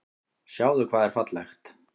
Sjáðu hvað er fallegt.